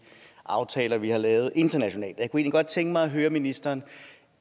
aftaler vi har lavet internationalt jeg kunne egentlig godt tænke mig at høre ministeren